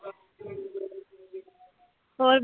ਹੋਰ